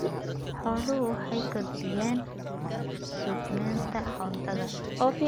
Xooluhu waxay kordhiyaan sugnaanta cuntada.